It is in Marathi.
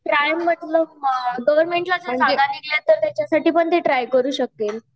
ट्राय म्हणजे गवर्नमेंटला जर जागा राहिली तर त्याच्या साठी पण ते ट्राय करू शकतील